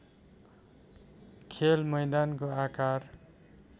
खेलमैदानको आकार